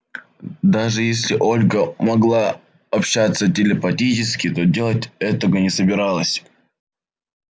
даже если ольга могла общаться телепатически то делать этого не собиралась